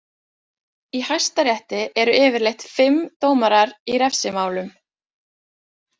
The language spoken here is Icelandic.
Í hæstarétti eru yfirleitt fimm dómarar í refsimálum.